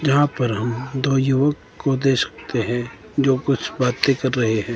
जहां पर हम दो युवक को देख सकते हैं जो कुछ बातें कर रहे हैं।